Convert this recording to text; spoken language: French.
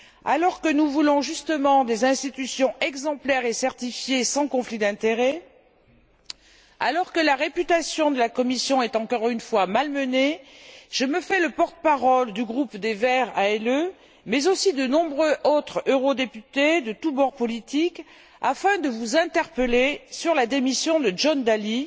alors que nous voulons, justement, des institutions exemplaires et certifiées sans conflits d'intérêts, alors que la réputation de la Commission est encore une fois malmenée, je me fais le porte parole du groupe des Verts ALE mais aussi de nombreux autres eurodéputés de tous bords politiques afin de vous interpeller sur la démission de John Dalli